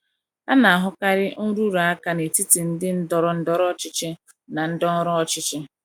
A na - ahụkarị nrụrụ aka n’etiti ndị ndọrọ ndọrọ ọchịchị na ndị ọrụ ọchịchị.